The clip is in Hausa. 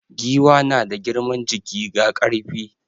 Giwa na da girman jiki ga ƙarfi.